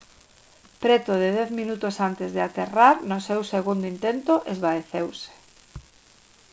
preto de dez minutos antes de aterrar no seu segundo intento esvaeceuse